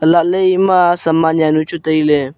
elah le ema saman jaonu chu tai le.